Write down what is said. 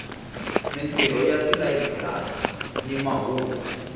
mintirho ya tilayiburari ni mahungu